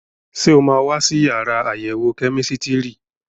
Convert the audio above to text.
Ṣé o máa wá sí yàrá àyẹ̀wò kẹ́mísítírì?